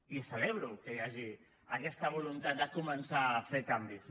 i celebro que hi hagi aquesta voluntat de començar a fer canvis